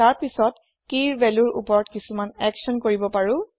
তাৰ পাছত কিৰ ভেল্যুৰ ওপৰত কিছুমান একচ্যন কৰিব পাৰো